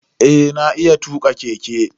Eh na iya tuka keke.